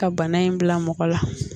Ka bana in bila mɔgɔ la